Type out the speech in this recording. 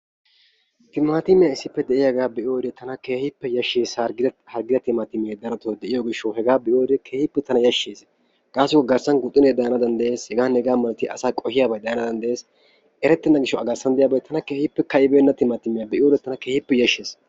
timaatimiyaa issippe de'iyaagaa be'iyoode tana keehippe yashshees. hargidda timaatimee darotoo de'iyoo giishaw hegaa be'iyoode keehippe tana yaashshees. gaasoykka garssan guxunee daana dandayees. hegaanne hegaa malatiyaa asaa qohiyaabay daanawu eretenna giishaw a garssan diyiyaa keehippe ka'ibenna timaatimiyaa be'iyoode tana keehippe yashshees.